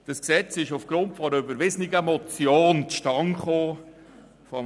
Das Gesetz ist aufgrund einer überwiesenen Motion von Herrn Haas zustande gekommen.